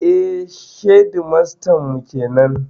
Eh, shedimastan mu kenan